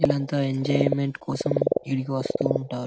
ఇలంతా enjoyment కోసం ఈదకు వాస్తు ఉంటారు.